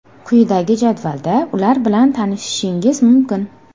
Quyidagi jadvalda ular bilan tanishishingiz mumkin.